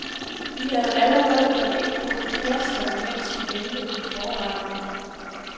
Vi havde allerede gjort indhug i flaskerne, mens vi ventede på forretterne.